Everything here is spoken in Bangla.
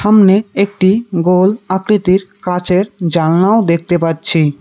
সামনে একটি গোল আকৃতির কাঁচের জানলাও দেখতে পাচ্ছি।